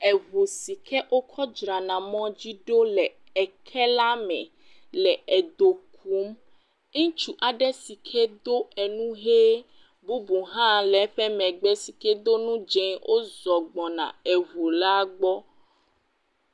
Eŋu si ke wokɔ dra na mɔ dzi ɖo le eke la me. Le edo kum. Ŋtus aɖe si ke do enu hee. Bubu hã le eƒe megbe do nu dzee wozɔ gbɔna eŋu la gbɔ.